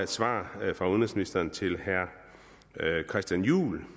svar fra udenrigsministeren til herre christian juhl